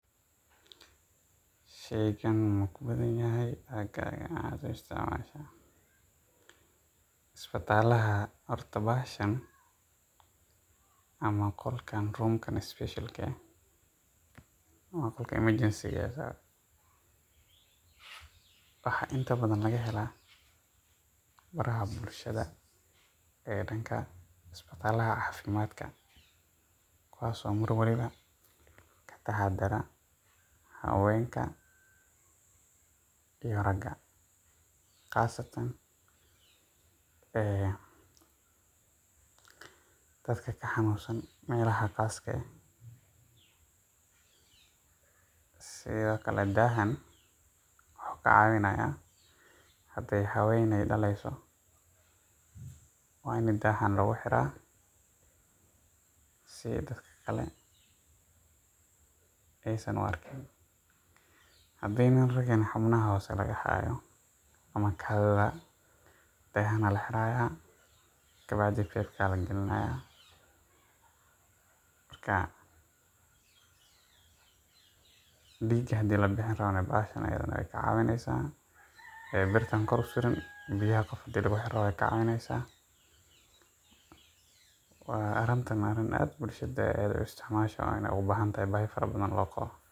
Horta qolkan — room-kan special ah — waa qolka emergency-ga. Waxaa inta badan laga helo xarumaha bulshada ee dhanka isbitaalka kuwaas oo mar walba ka dhex shaqeeya haweenka iyo ragga, gaar ahaan dadka ka xanuunsan meelaha gaar ah. Sidoo kale, daahaan wuxuu ka caawinayaa haddii ay haweeney tahay oo ay dhaleyso — waa in daahaan lagu xiraa si dadka kale aysan u arkin. Haddii uu nin rag ahna yahay oo xubnaha hoose laga hayo sida kaadida, daahaan ayaa la xiraa. Biyaha hadda lagu xiro rabo bahashan ayaadna waxay ka caawinaysaa birtaan kore suran. Arrintaan waa arrin bulshada aad loogu isticmaalo, oo ay u baahan tahay — baahi farabadanna loo qabo.